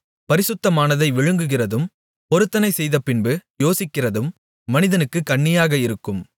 பரிசுத்தமானதை விழுங்குகிறதும் பொருத்தனை செய்தபின்பு யோசிக்கிறதும் மனிதனுக்குக் கண்ணியாக இருக்கும்